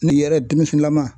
Ne yɛrɛ denmisɛnlama